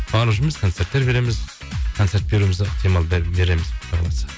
барып жүрміз концерттер береміз концерт беруіміз ықтимал береміз құдай қаласа